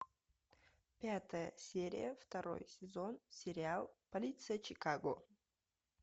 пятая серия второй сезон сериал полиция чикаго